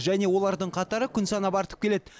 және олардың қатары күн санап артып келеді